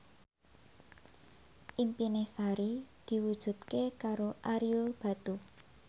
impine Sari diwujudke karo Ario Batu